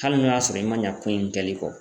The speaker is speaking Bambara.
Hali n'o y'a sɔrɔ i ma ɲa ko in kɛli kɔ.